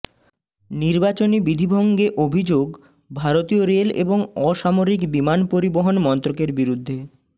নির্বাচনী বিধিভঙ্গে অভিযোগ ভারতীয় রেল এবং অসামরিক বিমান পরিবহণ মন্ত্রকের বিরুদ্ধে